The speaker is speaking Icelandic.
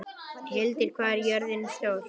Hildir, hvað er jörðin stór?